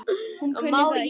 Hún kunni það ekki.